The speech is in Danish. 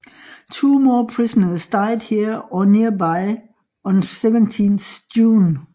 Two more prisoners died here or nearby on 17 June